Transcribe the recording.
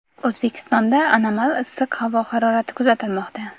O‘zbekistonda anomal issiq havo harorati kuzatilmoqda.